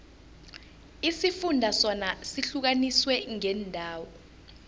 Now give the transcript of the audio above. isifunda sona sihlukaniswe ngeendawo